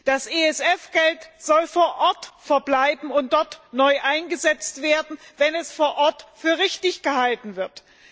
Das ESF Geld soll vor Ort verbleiben und dort neu eingesetzt werden, wenn dies vor Ort für richtig gehalten wird.